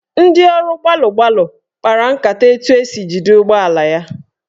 Ndị ọrụ gbalụ gbalụ kpara nkata etu esi jide ụgbọala ya.